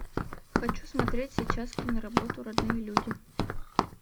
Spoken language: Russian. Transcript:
хочу смотреть сейчас киноработу родные люди